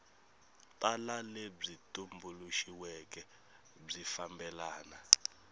tala lebyi tumbuluxiweke byi fambelana